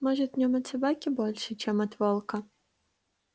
может в нем от собаки больше чем от волка